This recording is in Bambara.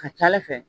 Ka ca ale fɛ